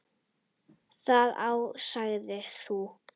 Ég á það. Þú?